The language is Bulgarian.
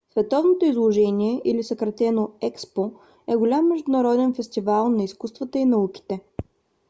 световното изложение или съкратено експо е голям международен фестивал на изкуствата и науките